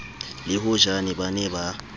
le hojane ba ne ba